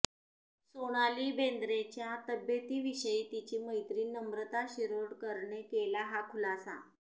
सोनाली बेंद्रेच्या तब्येतीविषयी तिची मैत्रीण नम्रता शिरोडकरने केला हा खुलासा